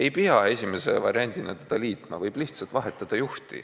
Ei pea esimese variandina teda kellegagi liitma, võib lihtsalt vahetada juhti.